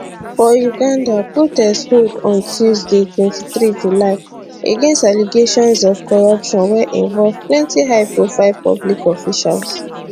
for uganda protest hold on tuesday 23 july against allegations of corruption wey involve plenty high profile public officials